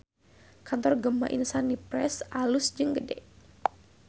Kantor Gema Insani Press alus jeung gede